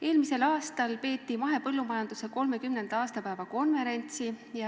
Eelmisel aastal peeti mahepõllumajanduse 30. aastapäeva konverents.